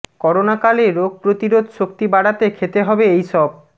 করোনাকালে রোগ প্রতিরোধ শক্তি বাড়াতে খেতে হবে এই সব